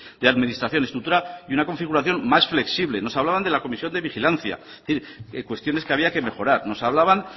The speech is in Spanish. de administración estructura de una configuración más flexible nos hablaban de la comisión de vigilancia es decir cuestiones que había que mejorar nos hablaban